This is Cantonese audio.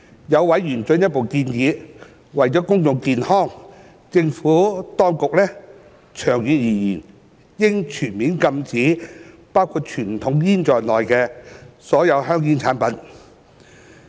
有委員進一步建議，為了公眾健康，政府當局長遠而言應全面禁止包括傳統香煙在內的所有香煙產品。